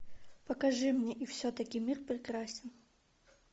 покажи мне и все таки мир прекрасен